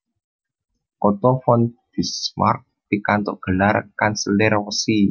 Otto von Bismarck pikantuk gelar Kanselir Wesi